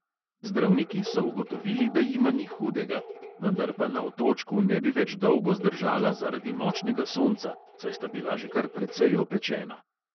Zdravniki so ugotovili, da jima ni hudega, vendar pa na otočku ne bi več dolgo zdržala zaradi močnega sonca, saj sta bila že kar precej opečena.